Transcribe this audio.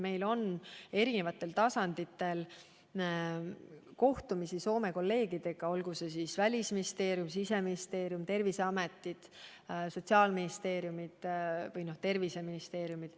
Meil on olnud eri tasanditel kohtumisi Soome kolleegidega, olgu need välisministeeriumid, siseministeeriumid, terviseametid, sotsiaalministeeriumid või terviseministeeriumid.